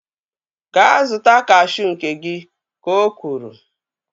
Gaa zụta kashuu nke gị! Ka o kwuru